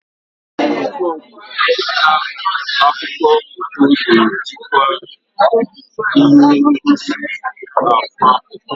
Ụfọdụ mgbe, nta akụkọ foto ga-ejikwa ihe ngosi akụ akụkọ.